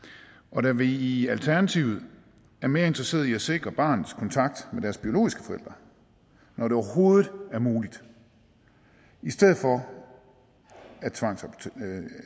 og da vi i alternativet er mere interesseret i at sikre barnets kontakt med deres biologiske forældre når det overhovedet er muligt i stedet for at tvangsadoptere